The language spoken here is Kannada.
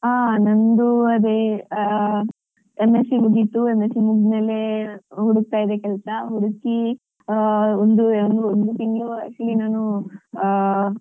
ಹ ನಂದು ಅದೆ ಆ M. Sc. ಮುಗಿತು M. Sc. ಮುಗ್ದ್ಮೇಲೆ ಹುಡುಕತ್ತಾ ಇದ್ದೆ ಕೆಲ್ಸ ಹುಡುಕಿ ಆ ಒಂದು ಒಂದು ತಿಂಗ್ಳು actually ನಾನು ಆ